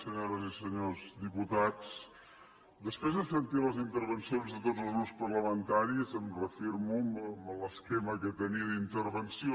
senyores i senyors diputats després de sentir les intervencions de tots els grups parlamentaris em reafirmo en l’esquema que tenia d’intervenció